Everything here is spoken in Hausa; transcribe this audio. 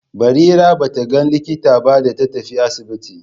Barira ba ta ga likita ba da ta tafi asibiti.